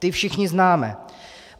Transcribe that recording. Ta všichni známe.